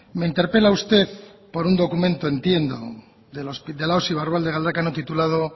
me interpela usted por un documento entiendo de la osi barrualde galdakao titulado